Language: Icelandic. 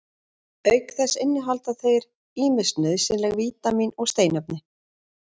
auk þess innihalda þeir ýmis nauðsynleg vítamín og steinefni